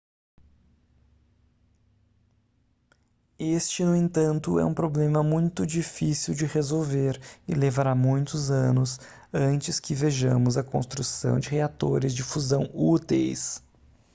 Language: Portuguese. este no entanto é um problema muito difícil de resolver e levará muitos anos antes que vejamos a construção de reatores de fusão úteis